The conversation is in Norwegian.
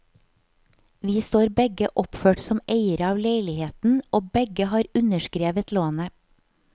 Vi står begge oppført som eiere av leiligheten, og begge har underskrevet lånet.